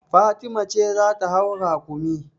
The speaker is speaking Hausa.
Fatima ce za ta hau rakumi.